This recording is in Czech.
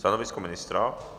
Stanovisko ministra?